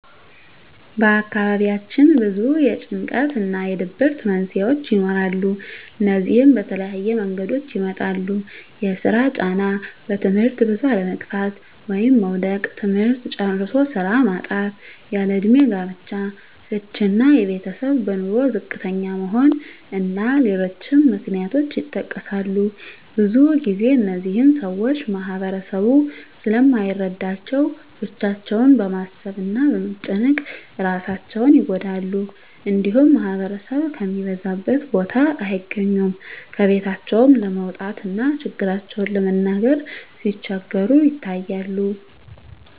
በአካባቢያችን ብዙ የጭንቀት እና የድብርት መንስሄዎች ይኖራሉ። እነዚህም በተለያየ መንገዶች ይመጣሉ የስራ ጫና; በትምህርት ብዙ አለመግፋት (መዉደቅ); ትምህርት ጨርሶ ስራ ማጣት; ያለእድሜ ጋብቻ; ፍች እና የቤተሰብ በኑሮ ዝቅተኛ መሆን እና ሌሎችም ምክንያቶች ይጠቀሳሉ። ብዙ ግዜ እነዚህን ሰወች ማህበረሰቡ ስለማይረዳቸው ብቻቸውን በማሰብ እና በመጨነቅ እራሳቸውን ይጎዳሉ። እንዲሁም ማህበረሰብ ከሚበዛበት ቦታ አይገኙም። ከቤታቸውም ለመውጣት እና ችግራቸውን ለመናገር ሲቸገሩ ይታያሉ።